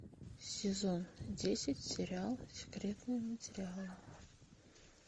сезон десять сериал секретные материалы